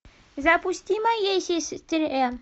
запусти моей сестре